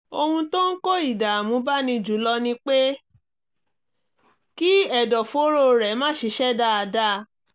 ohun tó ń kó ìdààmú báni jù lọ ni pé kí ẹ̀dọ̀fóró rẹ̀ má ṣiṣẹ́ dáadáa